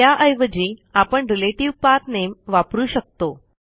त्याऐवजी आपण रिलेटिव्ह पाठ nameवापरू शकतो